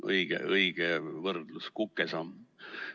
Õige võrdlus: kukesamm.